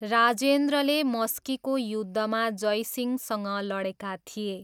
राजेन्द्रले मस्कीको युद्धमा जयसिंहसँग लडेका थिए।